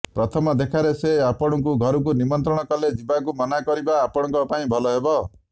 ପ୍ରଥମ ଦେଖାରେ ସେ ଆପଣଙ୍କୁ ଘରକୁ ନିମନ୍ତ୍ରଣ କଲେ ଯିବାକୁ ମନା କରିବା ଆପଣଙ୍କ ପାଇଁ ଭଲ ହେବ